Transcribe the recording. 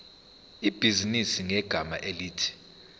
ibhizinisi ngegama elithi